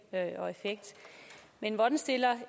men hvordan stiller